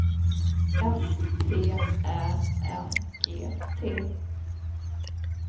S T Ä N G T